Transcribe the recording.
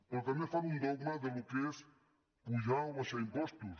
però també fan un dogma del que és apujar o abaixar impostos